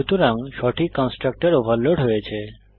সুতরাং সঠিক constructor overload হয়েছে